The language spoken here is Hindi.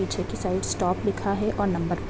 पीछे की साइड स्टॉप लिखा है और नंबर --